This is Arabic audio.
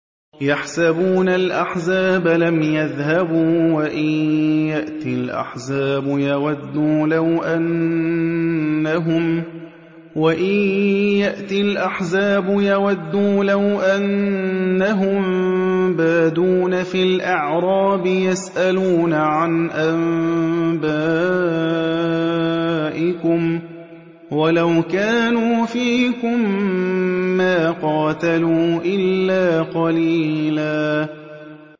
يَحْسَبُونَ الْأَحْزَابَ لَمْ يَذْهَبُوا ۖ وَإِن يَأْتِ الْأَحْزَابُ يَوَدُّوا لَوْ أَنَّهُم بَادُونَ فِي الْأَعْرَابِ يَسْأَلُونَ عَنْ أَنبَائِكُمْ ۖ وَلَوْ كَانُوا فِيكُم مَّا قَاتَلُوا إِلَّا قَلِيلًا